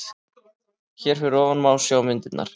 Hér fyrir ofan má sjá myndirnar